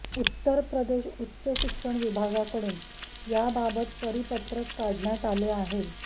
उत्तर प्रदेश उच्च शिक्षण विभागाकडून याबाबत परिपत्रक काढण्यात आले आहे